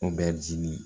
O bɛ dimi